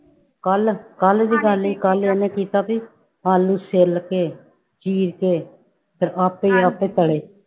ਕੱਲ੍ਹ ਕੱਲ੍ਹ ਦੀ ਗੱਲ ਹੀ ਇਹਨੇ ਕੀਤਾ ਵੀ ਆਲੂ ਛਿੱਲ ਕੇ ਚੀਰ ਕੇ, ਫਿਰ ਆਪੇ ਹੀ ਆਪੇ ਤਲੇ।